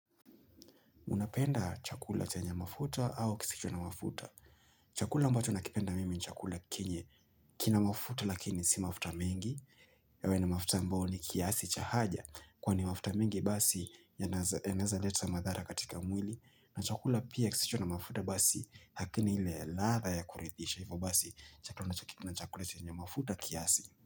Unapenda chakula chenya mafuta au kisicho na mafuta. Chakula ambacho nakipenda mimi chakula kenye kina mafuta lakini si mafuta mengi. Yawe ni mafuta ambayo ni kiasi cha haja kwani mafuta mengi basi yanaweza leta madhara katika mwili. Na chakula pia kisicho na mafuta basi hakini ile ladha ya kuridhisha. Hivo basi chakula ninachokipenda ni chakula chenye mafuta kiasi.